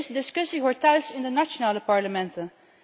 Deze discussie hoort thuis in de nationale parlementen.